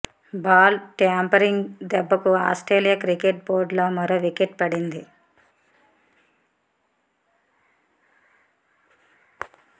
ball tampering దెబ్బకు Australia cricket బోర్డులో మరో వికెట్ పడింది